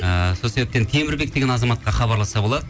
ыыы сол себептен темірбек деген азаматқа хабарласса болады